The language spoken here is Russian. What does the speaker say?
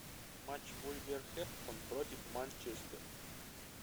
матч вулверхэмптон против манчестер